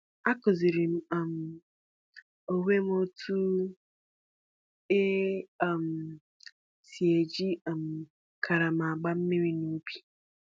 Akụziiri m um onwe m otú e um si eji um karama na-agba mmiri n’ubi.